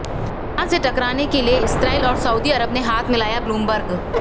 Iran से टकराने के लिए इस्राईल और सऊदी अरब ने हाथ मिलायाः ब्लूमबर्ग